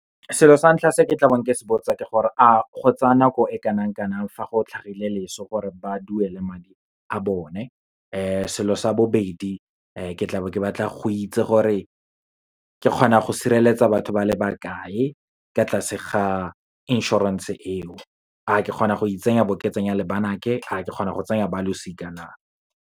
Selo sa ntlha se ke tla beng ke se botsa ke gore, a go tsa nako e kanang-kanang fa go tlhagile loso, gore ba duela madi a bone. Selo sa bobedi, ke tla be ke batla go itse gore ke kgona go sireletsa batho ba le bakae, ka tlase ga inšorense eo. A ke kgona go itsenya, bo ke tsenya le banake. A ke kgona go tsenya balosika na.